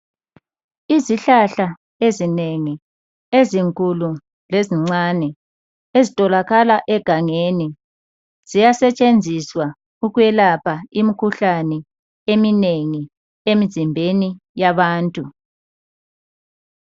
Izihlahla ezinengi ezinkulu lezincane, ezitholakala egangeni ziyasetshenziswa ukwelapha imikhuhlane eminengi emzimbeni yabantu.